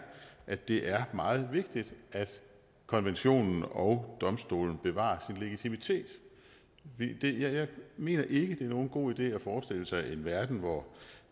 at det er meget vigtigt at konventionen og domstolen bevarer legitimitet jeg mener ikke det er nogen god idé at forestille sig en verden hvor